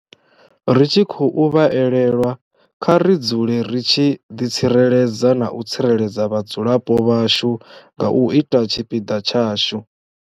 Ri tshi khou vha elelwa, kha ri dzule ri tshi ḓitsireledza na u tsireledza vhadzulapo vhashu nga u ita tshipiḓa tshashu.